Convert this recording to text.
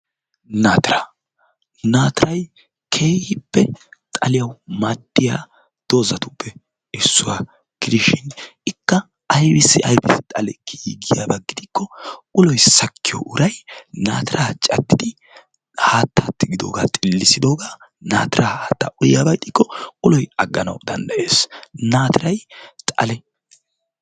Naatiraa naatirayi keehippe xaliyawu maaddiya doozatuppe issuwa gidishin aybissi aybissi xale kiyiyakko uloyi sakkiyo uray naatiraa caddidi haatta tigidoogaa xillissidooga naatira haatta uyiyaba gidikko uloyi agganawu danddayes. Naatirayi xale.